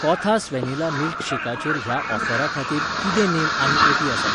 कोथास वेनिला मिल्कशेकाचेर ह्या ऑफरा खातीर कितें नेम आनी अटी आसा ?